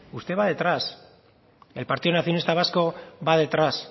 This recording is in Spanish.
usted va detrás el partido nacionalista vasco va detrás